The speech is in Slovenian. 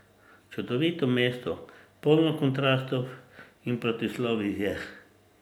Čudovito mesto, polno kontrastov in protislovij je.